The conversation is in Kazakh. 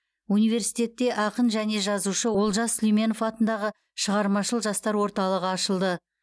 университетте ақын және жазушы олжас сүлейменов атындағы шығармашыл жастар орталығы ашылды